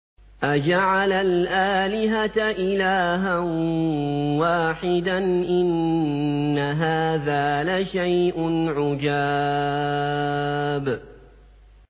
أَجَعَلَ الْآلِهَةَ إِلَٰهًا وَاحِدًا ۖ إِنَّ هَٰذَا لَشَيْءٌ عُجَابٌ